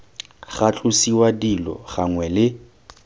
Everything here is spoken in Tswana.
ga tlosiwa dilo gangwe le